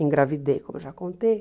Engravidei, como eu já contei.